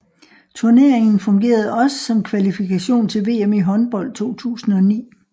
Turneringen fungerede også som kvalifikation til VM i håndbold 2009